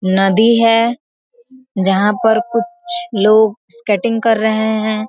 नदी है जहां पे कुछ लोग स्केटिंग कर रहे हैं।